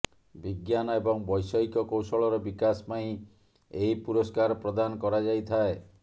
ବିଜ୍ଞାନ ଏବଂ ବୈଷୟିକ କୌଶଳର ବିକାଶ ପାଇଁ ଏହି ପୁରସ୍କାର ପ୍ରଦାନ କରାଯାଇଥାଏ